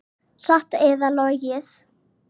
Satt eða logið.